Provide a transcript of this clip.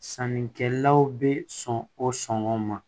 Sannikɛlaw bɛ sɔn o sɔngɔn ma